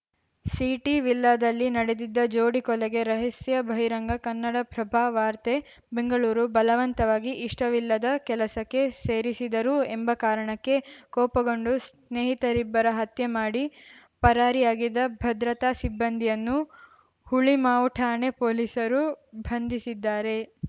ಸಿಟಿವಿಲ್ಲಾದಲ್ಲಿ ನಡೆದಿದ್ದ ಜೋಡಿ ಕೊಲೆಗೆ ರಹಸ್ಯ ಬಹಿರಂಗ ಕನ್ನಡಪ್ರಭ ವಾರ್ತೆ ಬೆಂಗಳೂರು ಬಲವಂತವಾಗಿ ಇಷ್ಟವಿಲ್ಲದ ಕೆಲಸಕ್ಕೆ ಸೇರಿಸಿದರೂ ಎಂಬ ಕಾರಣಕ್ಕೆ ಕೋಪಗೊಂಡು ಸ್ನೇಹಿತರಿಬ್ಬರ ಹತ್ಯೆ ಮಾಡಿ ಪರಾರಿಯಾಗಿದ್ದ ಭದ್ರತಾ ಸಿಬ್ಬಂದಿಯನ್ನು ಹುಳಿಮಾವು ಠಾಣೆ ಪೊಲೀಸರು ಭಂಧಿಸಿದ್ದಾರೆ